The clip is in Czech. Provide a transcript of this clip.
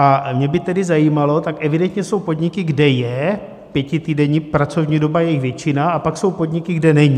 A mě by tedy zajímalo, tak evidentně jsou podniky, kde je pětitýdenní pracovní doba , je jich většina, a pak jsou podniky, kde není.